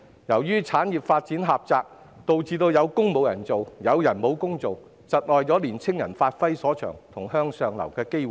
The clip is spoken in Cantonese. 由於產業發展狹窄，導致"有工無人做，有人無工做"，窒礙年青人發揮所長及影響他們向上流的機會。